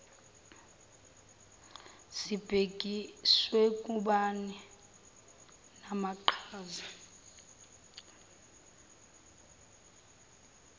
sibhekiswe kubani namaqhaza